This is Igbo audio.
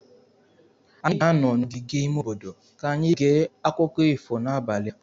anyị ga-anọ n'ogige ime obodo ka anyị gee akụkọ ifo n'abalị a.